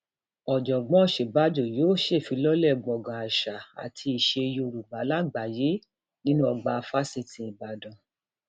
ọjọgbọn òsínbàjò yóò ṣèfilọlẹ gbọngàn àṣà àti iṣẹ yorùbá lágbàáyé nínú ọgbà fáṣítì ìbàdàn